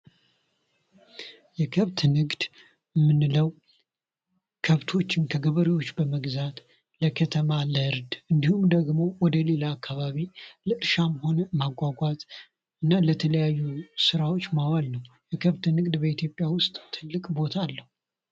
የከብት ንግድ የምንለው ከብቶችን ከገበሬዎች በመግዛት ለከተማ ለእርድ እንዲሁም ደግሞ ወደሌላ አካባቢ ለእርሻም ሆነ ማጓጓዝ እና ለተለያዩ ስራዎች ማዋል ነው። የከብት ንግድ በኢትዮጵያ ውስጥ ትልቅ ቦታ አለው።